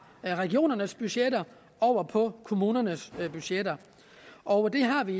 regionernes budgetter over på kommunernes budgetter og det har vi